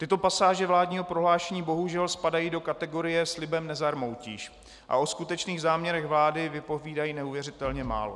Tyto pasáže vládního prohlášení bohužel spadají do kategorie "slibem nezarmoutíš" a o skutečných záměrech vlády vypovídají neuvěřitelně málo.